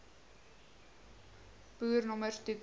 boer nommers toeken